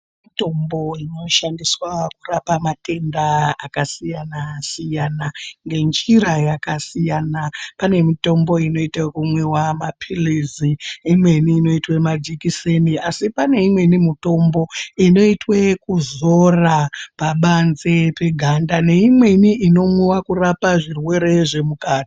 Mitombo inoshandiswa kurapa matenda akasiyana-siyana, ngenjira yakasiyana pane mitombo inoite ekumwiwa maphilizi, imweni inoitwe majekiseni asi pane imweni mitombo inoitwe ekuzora pabanze peganda neimweni inomwiwa kurapa zvirwere zvemuka.